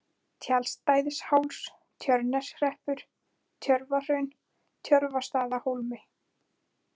Tjaldstæðisháls, Tjörneshreppur, Tjörvahraun, Tjörvastaðahólmi